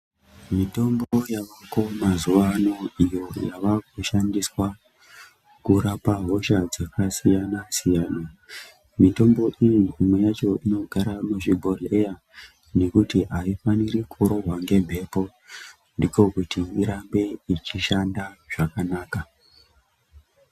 Mitombo yavakoo mazuwa ano iyo yavakushandiswa kurapa hosha dzakasiyana-siyana. Mitombo iyi imwe yacho inogara muzvibhodhleya ,nekuti aifaniri kurohwa ngemhepo, ndiko kuti irambe ichishanda zvakanaka.